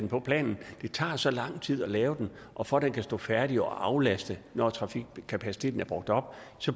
på planen det tager så lang tid at lave den og for at den kan stå færdig og aflaste når trafikkapaciteten er brugt op